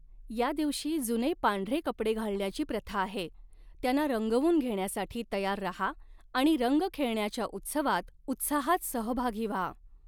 या दिवशी जुने पांढरे कपडे घालण्याची प्रथा आहे, त्यांना रंगवून घेण्यासाठी तयार रहा आणि रंग खेळण्याच्या उत्सवात उत्साहात सहभागी व्हा.